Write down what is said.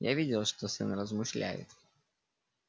я видел что сын размышляет